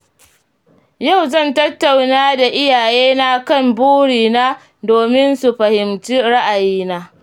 Yau zan tattauna da iyayena kan burina domin su fahimci ra'ayina.